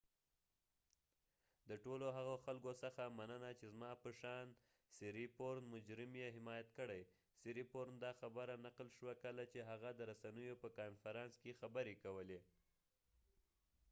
"د ټولو هغو خلکو څخه مننه چې زما په شان مجرم یې حمایت کړي"، سیریپورنsiriporn دا خبره نقل شوه ، کله چې هغه د رسنیو په کانفرانس کې خبری کولی